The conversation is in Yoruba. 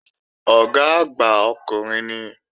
Ọ̀gá àgbà ọkùnrin ni